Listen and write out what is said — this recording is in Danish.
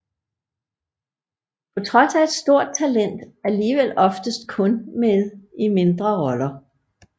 På trods af et stort talent alligevel oftest kun med i mindre roller